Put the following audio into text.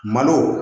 Malo